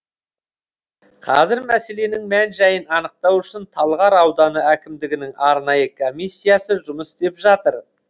қазір мәселенің мән жайын анықтау үшін талғар ауданы әкімдігінің арнайы комиссиясы жұмыс істеп жатыр